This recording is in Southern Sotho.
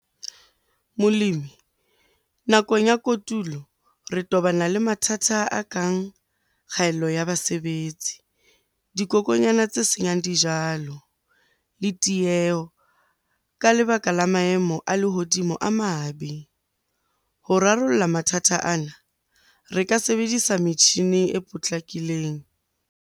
Molemi, nakong ya kotulo re tobana le mathata a kang kgaello ya basebetsi, dikokonyana tse senyang dijalo le tieho ka lebaka la maemo a lehodimo a mabe. Ho rarolla mathata ana, re ka sebedisa metjhini e potlakileng.